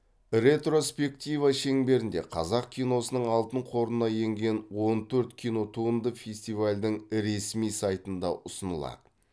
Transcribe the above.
ретроспектива шеңберінде қазақ киносының алтын қорына енген он төрт кинотуынды фестивальдің ресми сайтында ұсынылады